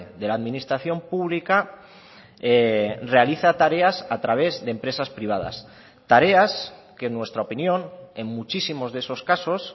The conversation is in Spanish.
de la administración pública realiza tareas a través de empresas privadas tareas que en nuestra opinión en muchísimos de esos casos